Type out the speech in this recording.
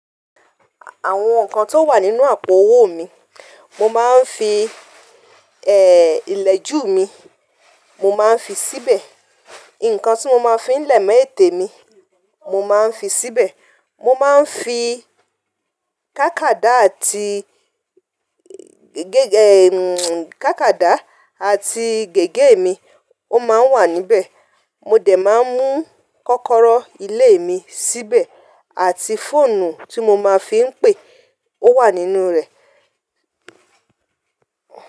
Àwọn nǹkan tó wà nínú àpò owó mi, mo máa ń fi, ẹ, ilẹ̀ jù mi, mo máa ń fi síbẹ̀. Nǹkan tí mo máa ń fi lẹ̀mọ́ ètè mi, mo máa ń fi síbẹ̀. Mo máa ń fi kákàdá àti gègé, ẹ, kákàdá àti gègé mi, ó máa ń wà níbẹ̀. Mo dẹ̀ máa ń mú kọ́kọ́rọ́ ilé mi síbẹ̀ àti fóònù tí mo máa ń fi ń pè, ó wà nínú rẹ̀.